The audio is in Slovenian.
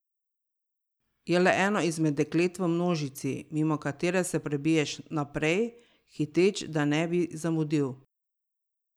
Je le eno izmed deklet v množici, mimo katere se prebijaš naprej, hiteč, da ne bi zamudil.